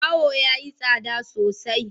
Baho yayi tsada sosai.